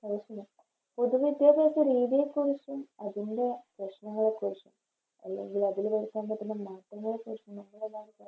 പൊതു വിദ്യാഭ്യാസ രീതിയെക്കുറിച്ചും അതിൻറെ പ്രശ്‌നങ്ങളെക്കുറിച്ചും അല്ലെങ്കില് അതില് വരുത്താൻ പറ്റുന്ന മാറ്റങ്ങളെക്കുറിച്ചും